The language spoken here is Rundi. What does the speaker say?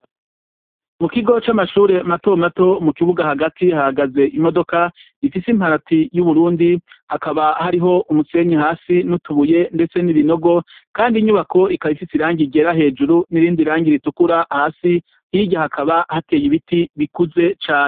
Mu kigo c'amashure matomato mu kibuga hagati hagaze imodoka ifise imparati y'uburundi hakaba hariho umusenyi hasi n'utubuye, ndetse n'ibinogo, kandi inyubako ikabaifise irangi ryera hejuru n'irindi rangi ritukura hasi hirya hakaba hateye ibiti bikuze cane.